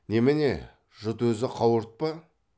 немене жұт өзі қауырт па